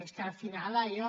és que al final allò